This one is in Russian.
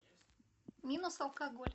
минус алкоголь